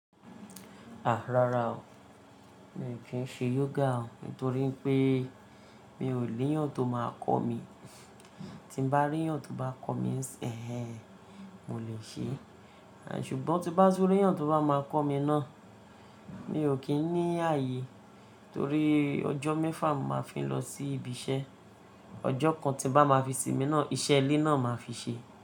Àá rara o, mi ò kí ń ṣe yoga o nítorí pé mi ò níyàn tó máa kọ́ mi. Tí bá ríyàn tó bá kọ́ mi ńṣin ẹ, mo lè ṣe é. À ṣùgbọ́n tí bá tú ríyàn tó bá máa kọ́ mi náà, mi ò kí ń ní ààyè torí ọjọ́ mẹ́fà mo màá fi ń lọ sí ibi iṣẹ́. Ọjọ́ kan tí bá máa fi sinmi náà, iṣẹ́ ilé náà màá fi ṣe.